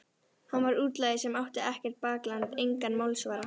Hann var útlagi sem átti ekkert bakland, engan málsvara.